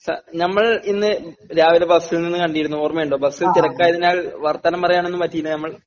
Sir ഞമ്മൾ ഇന്ന് രാവിലെ ബസ്സിൽ നിന്ന് കണ്ടിരുന്നു ഓർമ്മയുണ്ടോ? ബസ്സിൽ തിരക്കായതിനാൽ വർത്താനം പറയാനൊന്നും പറ്റിയില്ല ഞമ്മൾ